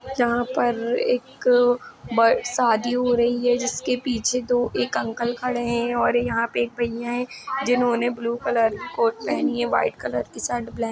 यहाँ पर एक ब शादी हो रही है जिसके पीछे दो एक अंकल खड़े हैं और यहाँ पे एक भैया है जिन्होंने ब्लू कलर की कोट पहनी है व्हाइट कलर की शर्ट --